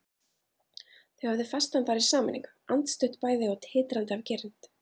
Þau höfðu fest hann þar í sameiningu, andstutt bæði og titrandi af girnd.